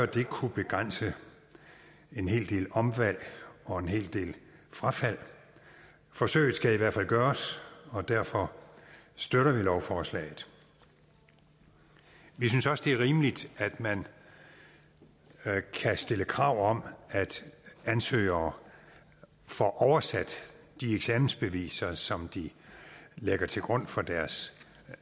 det kunne begrænse en hel del omvalg og en hel del frafald forsøget skal i hvert fald gøres og derfor støtter vi lovforslaget vi synes også det er rimeligt at man kan stille krav om at ansøgere får oversat de eksamensbeviser som de lægger til grund for deres